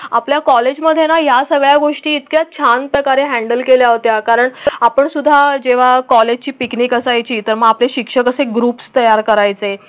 आपल्या कॉलेजमधे ना या सगळ्या गोष्टी इतक्या छानप्रकारे हॅन्डल केल्या होत्या. कारण आपण सुद्धा जेव्हा कॉलेजची पिकनिक असायची तर मग ते शिक्षक असे ग्रुप्स तयार करायचा आहे.